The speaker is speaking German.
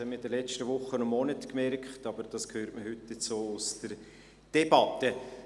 Dies haben wir in den letzten Wochen und Monaten gemerkt, aber man hört es heute auch aus der Debatte.